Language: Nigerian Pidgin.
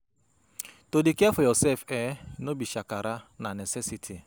To dey care for yoursef um no be shakara, na necessity.